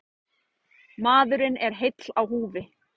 Maðurinn er heill á húfi.